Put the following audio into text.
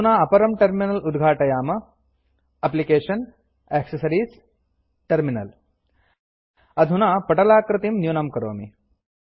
अधुना अपरं टर्मिनल उद्घाटयाम एप्लिकेशन्ग्टैक्सेस अधुना पटलाकृतिं न्यूनं करोमि